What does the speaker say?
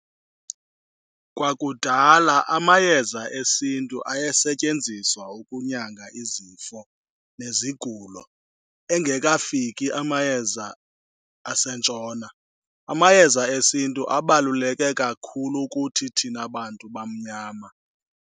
Kwakudala amayeza esintu ayesetyenziswa ukunyanga izifo nezigulo, engekafiki amayeza asentshona. Amayeza esintu abaluleke kakhulu kuthi thina bantu bamnyama.